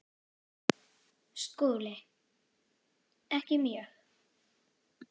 SKÚLI: Ekki mjög.